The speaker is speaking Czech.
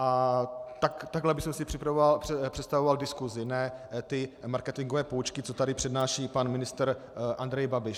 A takhle bych si představoval diskusi, ne ty marketingové poučky, co tady přednáší pan ministr Andrej Babiš.